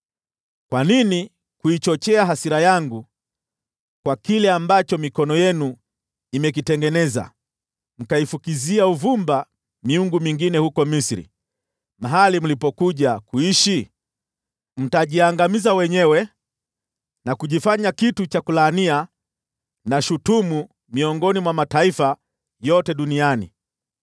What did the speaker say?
Kwa nini kuichochea hasira yangu kwa kile ambacho mikono yenu imekitengeneza, mkaifukizia uvumba miungu mingine huko Misri, mahali mlipokuja kuishi? Mtajiangamiza wenyewe na kujifanya kitu cha kulaania na shutumu miongoni mwa mataifa yote duniani.